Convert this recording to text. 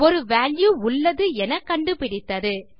ஒரு வால்யூ உள்ளது என கண்டுபிடித்தது